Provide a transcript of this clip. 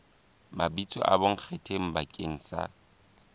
mabitso a bonkgetheng bakeng sa